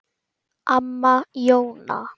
Amma Jóna.